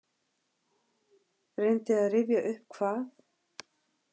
Reyndi að rifja upp hvað.